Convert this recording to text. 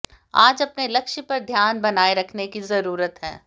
आज अपने लक्ष्य पर ध्यान बनाये रखने की जरूरत है